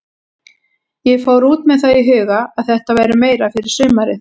Ég fór út með það í huga að þetta væri meira fyrir sumarið.